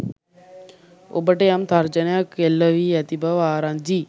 ඔබට යම් තර්ජන එල්ල වී ඇති බව ආරංචියි.